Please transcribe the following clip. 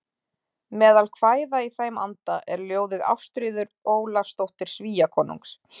Meðal kvæða í þeim anda er ljóðið Ástríður Ólafsdóttir Svíakonungs